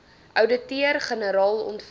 ouditeur generaal ontvang